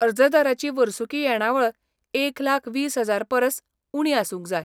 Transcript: अर्जदाराची वर्सुकी येणावळ एक लाख वीस हजार परस उणीं आसूंक जाय.